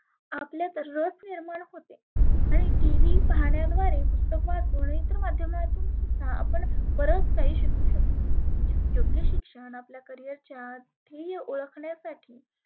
आपले नियमन होते. आणि TV पाहण्याद्वारे पुस्तक वाचुन इतर माध्यमांतुन सुद्धा आपण बरच काही शिकु शकतो. योग्य शिक्षण आपल्या career च्या ध्येय ओळखण्यासाठी